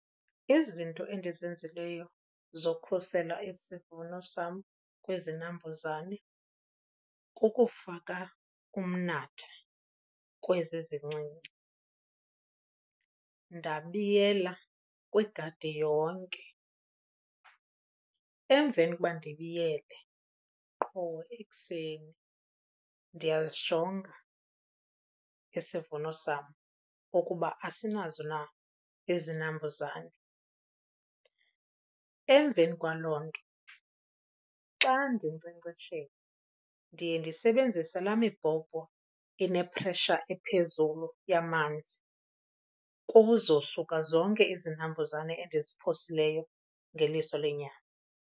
Izinto endizenzileyo zokhusela isivuno sam kwizinambuzane kukufaka umnatha kwezi zincinci, ndabiyela kwigadi yonke. Emveni koba ndibiyele qho ekuseni ndiyazijonga isivuno sam ukuba asinazo na izinambuzane. Emveni kwaloo nto xa ndinkcenkceshela ndiye ndisebenzise laa mibhobho inephresha ephezulu yamanzi kuzosuka zonke izinambuzane endiziphosileyo ngeliso lenyama.